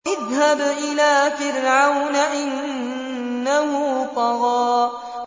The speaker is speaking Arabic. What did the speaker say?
اذْهَبْ إِلَىٰ فِرْعَوْنَ إِنَّهُ طَغَىٰ